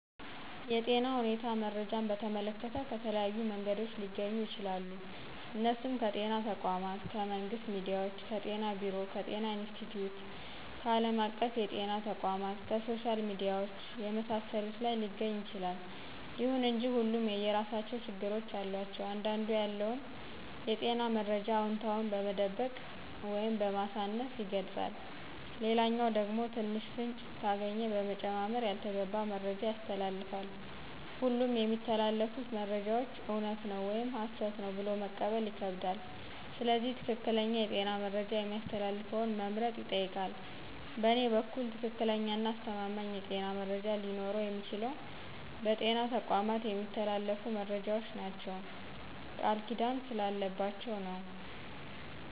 የጤና ሁኔታን መረጃን በተመለከተ ከተለያዩ መንገዶች ሊገኙ ይችላሉ እነሱም ከጤና ተቋማት :ከመንግስት ሚዲያዎች :ከጤና ቢሮ :ከጤና ኢንስትቲዮት :ከአለም አቀፍ የጤና ተቋማት :ከሶሻል ሚዲያዎች የመሳሰሉት ላይ ሊገኝ ይችላል። ይሁን እንጂ ሁሉም የየራሳቸው ችግሮች አሏቸው አንዳንዱ ያለውን የጤና መረጃ አውነታውን በመደበቅ ወይም በማሳነስ ይገልጻል ሌላኛው ደግሞ ትንሽ ፍንጭ ካገኘ በመጨማመር ያልተገባ መረጃ ያስተላልፋል ሁሉም የሚተላለፉት መረጃዎች እውነት ነው ወይም ሀሰት ነው ብሎ መቀበል ይከብዳል ስለዚህ ትክክለኛ የጤና መረጃ የሚያስተላልፈውን መምረጥ ይጠይቃል በእኔ በኩል ትክክለኛና አስተማማኝ የጤና መረጃ ሊኖረው የሚችለው በጤና ተቋማት የሚተላለፉት መረጃዎች ናቸው ቃልኪዳን ስላለባቸው ነው።